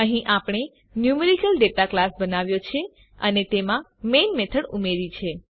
અહીં આપણે numerical data class બનાવ્યો છે અને તેમાં મેઈન મેથડ ઉમેરી છે